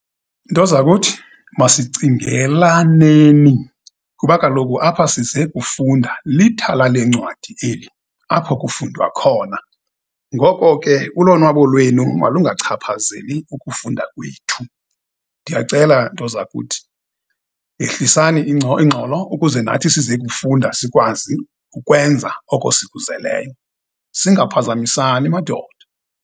Ntozakuthi, masicingelaneni, kuba kaloku apha size kufunda, lithala lencwadi eli, apho kufundwa khona. Ngoko ke, ulonwabo lwenu malungachaphazeli ukufunda kwethu. Ndiyacela, ntozakuthi, yehlisani ingxolo ukuze nathi sizokufunda, sikwazi ukwenza oko sikuzeleyo, singaphazamisani, madoda.